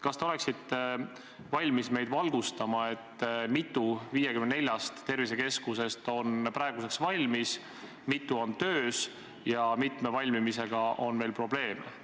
Kas te oleksite valmis meid valgustama, kui mitu 54 tervisekeskusest on praeguseks valmis, kui mitu on töös ja kui mitme valmimisega on veel probleeme?